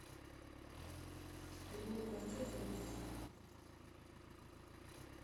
ремонт квартир в люберцах